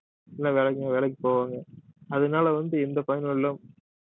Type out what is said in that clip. வேலைக்கு~ வேலைக்கு போவாங்க அதனால வந்து எந்த பயனும் இல்லை